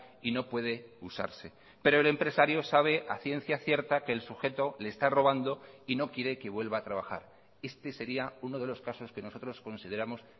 y no puede usarse pero el empresario sabe a ciencia cierta que el sujeto le está robando y no quiere que vuelva a trabajar este sería uno de los casos que nosotros consideramos